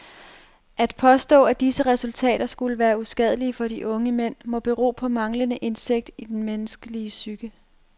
At påstå at disse ritualer skulle være uskadelige for de unge mænd må bero på manglende indsigt i den menneskelige psyke.